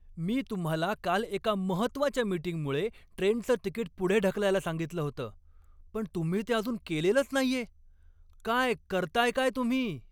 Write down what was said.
मी तुम्हाला काल एका महत्त्वाच्या मिटींगमुळे ट्रेनचं तिकीट पुढे ढकलायला सांगितलं होतं, पण तुम्ही ते अजून केलेलंच नाहीये, काय करताय काय तुम्ही?